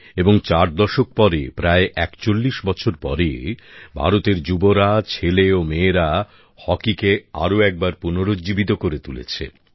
এবং চার দশক পরে প্রায় ৪১ বছর পরে ভারতের যুবসম্প্রদায় ছেলে ও মেয়েরা হকিকে আরো একবার পুনরুজ্জীবিত করে তুলেছে